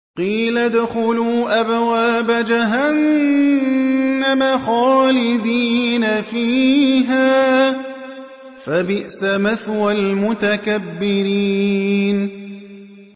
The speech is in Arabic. قِيلَ ادْخُلُوا أَبْوَابَ جَهَنَّمَ خَالِدِينَ فِيهَا ۖ فَبِئْسَ مَثْوَى الْمُتَكَبِّرِينَ